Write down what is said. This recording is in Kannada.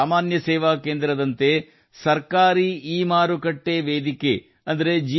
ಸಾಮಾನ್ಯ ಸೇವಾ ಕೇಂದ್ರದಂತೆ ಸರ್ಕಾರಿ ಇಮಾರುಕಟ್ಟೆ ಸ್ಥಳದಲ್ಲಿ ಅಂದರೆ ಜಿ